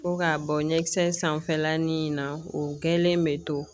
Fo k'a bɔ ɲɛkisɛ sanfɛla ni in na o kɛlen bɛ to